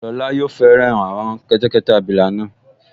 Lọla yóò fẹ́ràn àwọn kẹ́tẹ́kẹ́tẹ́ abilà náà